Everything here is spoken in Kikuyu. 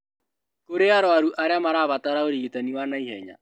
Kũrĩ arũaru arĩa marabatara ũrigitani wa naihenya